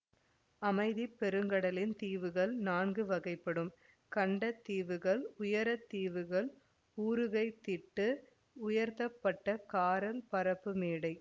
அமைதி பெருங்கடலின் தீவுகள் நான்கு வகைப்படும் கண்ட தீவுகள் உயர தீவுகள் ஊருகைத்திட்டு உயர்த்தப்பட்ட காரல் பரப்புமேடை